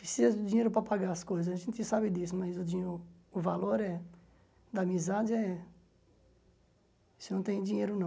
Precisa de dinheiro para pagar as coisas, a gente sabe disso, mas dinh o o valor é da amizade é... Isso não tem dinheiro, não.